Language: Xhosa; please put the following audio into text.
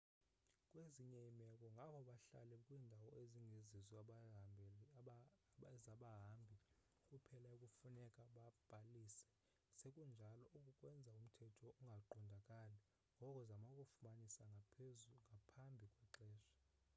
kwezinye iimeko ngabo bahlala kwiindawo ezingezizo ezabahambi kuphela ekufuneka babhalise sekunjalo oku kwenza umthetho ungaqondakali ngoko zama ukufumanisa ngaphambi kwexesha